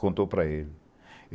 Contou para ele.